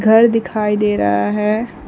घर दिखाई दे रहा है।